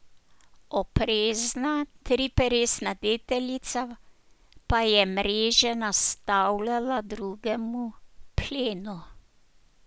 Oprezna triperesna deteljica pa je mreže nastavljala drugemu plenu.